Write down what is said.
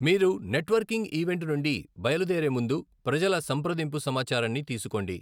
మీరు networking event నుండి బయలుదేరే ముందు ప్రజల సంప్రదింపు సమాచారాన్ని తీసుకోండి.